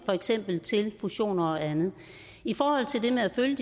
for eksempel fusioner og andet i forhold til det med at følge